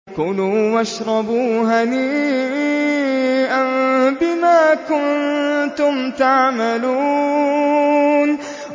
كُلُوا وَاشْرَبُوا هَنِيئًا بِمَا كُنتُمْ تَعْمَلُونَ